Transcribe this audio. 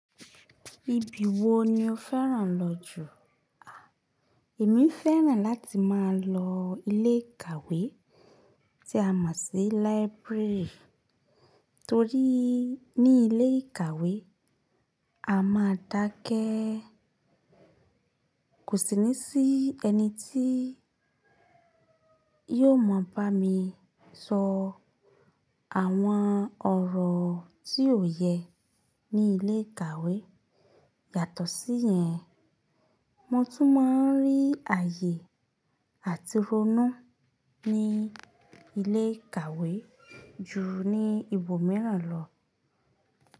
Ibi wo ni o fẹ́ràn lọ jù? À, èmi fẹ́ràn láti máa lọ ilé ìkàwé tí a mọ̀ sí library torí ní ilé ìkàwé, a máa dákẹ́. Kò sí ní sí ẹni tí yóò mọ̀ bá mi sọ àwọn ọ̀rọ̀ tí yó yẹ ní ilé ìkàwé. Yàtọ̀ sí yẹn, mo tún máa ń rí ààyè àti ronú ní ilé ìkàwé ju ní ibòmíràn lọ.